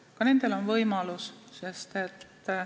Ka nendel on olemas võimalus.